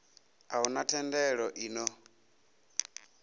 a huna thendelo i ṱo